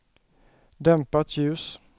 dämpat ljus